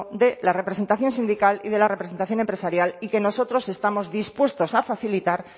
de la representación sindical y de la representación empresarial y que nosotros estamos dispuestos a facilitar